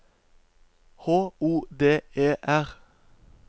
H O D E R